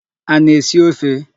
A na-esi ofe?